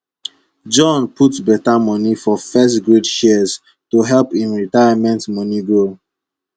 john put beta moni for firstgrade shares to help im retirement money grow